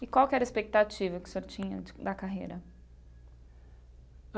E qual era a expectativa que o senhor tinha de da carreira?